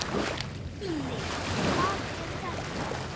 Guðný: Hvað er þetta?